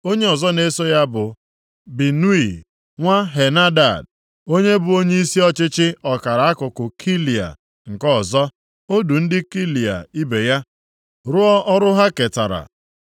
Onye ọzọ na-eso ya bụ Binui nwa Henadad onye bụ onyeisi ọchịchị ọkara akụkụ Keila nke ọzọ. O du ndị Keila ibe ya rụọ ọrụ ha ketara.